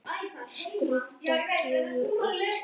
Skrudda gefur út.